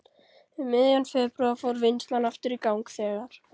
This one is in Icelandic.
Um miðjan febrúar fór vinnslan aftur í gang þegar